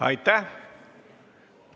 Aitäh!